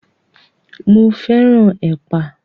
Mo fẹ́ràn ẹ̀pà.